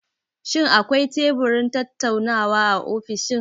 Shin akwai teburin tattaunawa a ofishin?